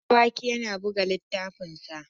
Habu Dawaki yana buga littafinsa.